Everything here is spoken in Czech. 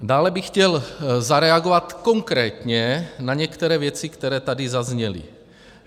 Dále bych chtěl zareagovat konkrétně na některé věci, které tady zazněly.